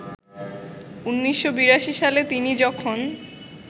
১৯৮২ সালে তিনি যখন